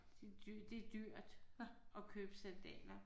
Det det er dyrt at købe sandaler